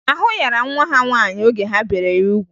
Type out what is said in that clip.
Ahụ yara nwa ha nwaanyị oge ha bere ya ugwu